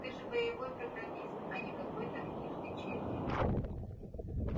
ты же боевой программист а не какой-то книжный червь